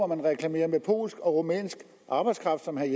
man reklamerer med polsk og rumænsk arbejdskraft som herre